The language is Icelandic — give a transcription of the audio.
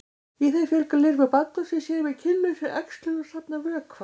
í þeim fjölga lirfur bandormsins sér með kynlausri æxlun og safna vökva